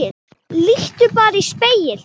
Líttu bara í spegil.